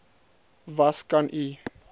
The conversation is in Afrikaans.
was kan u